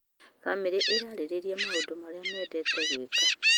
Bamĩrĩ ĩrarĩrĩria maũndũ marĩa mendete gwĩka.